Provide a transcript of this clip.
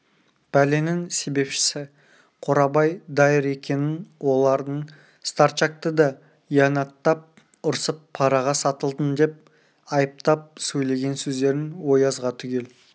пәленің себепшісі қорабай дайыр екенін олардың старчакты да иянаттап ұрсып параға сатылдың деп айыптап сөйлеген сөздерін оязға түгел